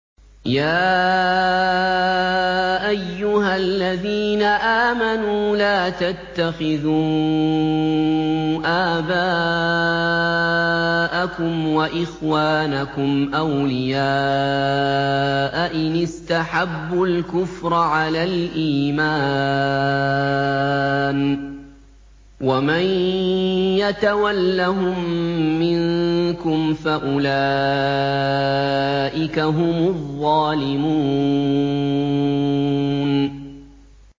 يَا أَيُّهَا الَّذِينَ آمَنُوا لَا تَتَّخِذُوا آبَاءَكُمْ وَإِخْوَانَكُمْ أَوْلِيَاءَ إِنِ اسْتَحَبُّوا الْكُفْرَ عَلَى الْإِيمَانِ ۚ وَمَن يَتَوَلَّهُم مِّنكُمْ فَأُولَٰئِكَ هُمُ الظَّالِمُونَ